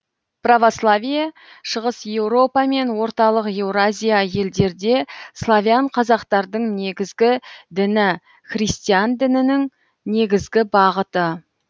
православие шығыс еуропа мен орталық еуразия елдерде славян казактардың негізгі діні христиан дінінің негізгі бағыты